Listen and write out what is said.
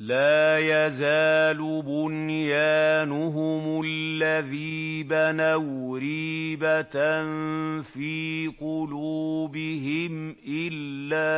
لَا يَزَالُ بُنْيَانُهُمُ الَّذِي بَنَوْا رِيبَةً فِي قُلُوبِهِمْ إِلَّا